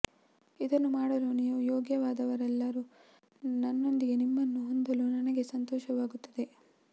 ಇದನ್ನು ಮಾಡಲು ನೀವು ಯೋಗ್ಯವಾದವರೆಲ್ಲರೂ ನನ್ನೊಂದಿಗೆ ನಿಮ್ಮನ್ನು ಹೊಂದಲು ನನಗೆ ಸಂತೋಷವಾಗುತ್ತದೆ